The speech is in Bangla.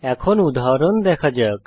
এখন উদাহরণ দেখা যাক